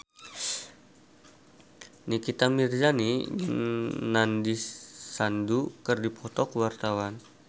Nikita Mirzani jeung Nandish Sandhu keur dipoto ku wartawan